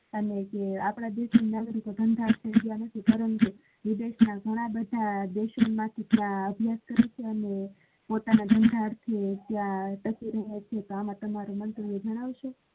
આપડા દેશ ના નાગરિકો ધંધા નથી પરંતુ વિદેશ ના ઘણા બધા દેશો માથી અને પોતાના ધંધા માં છે તો એમાં તમારું મંતવ્ય જણાવશો.